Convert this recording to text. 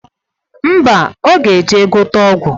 Ḿbà, oga eje gote ọgwụ.